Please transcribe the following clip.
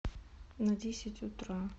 на десять утра